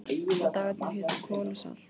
Og dagarnir hétu Kol og Salt